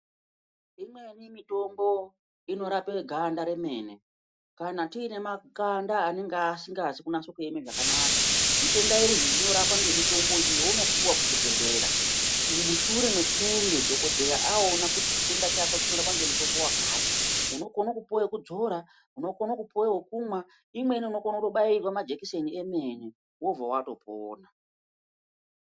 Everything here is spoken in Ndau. Imweni mitombo inorapa ganda remene kana tiine makanda anenge asingazi kunatso kueme zvakanaka. Zvitenda izvi zvinorapwa ngemitombo iyi younopuwa kuchibhehlera mushure mekunge dhogodhera aone kuti chitenda chako chinorapwa ngemutombo wakati. Unokone kupwa wekudzora, unokona kupuwa wokumwa, imweni unokone kutobairwa majekiseni emene, wobva watopona.